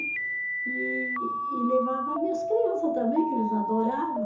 E e levava minhas criança também, que eles adorava.